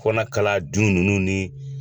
fɔ n'a kɛla jun ninnu.